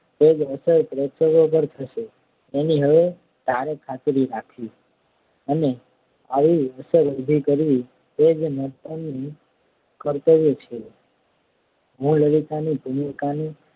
તે જ અસર પ્રેક્ષકો પર થશે એની હવે તારે ખાતરી રાખવી અને આવી અસર ઊભી કરવી એ જ નટનું કર્તવ્ય છે હું લલિતાની ભૂમિકાને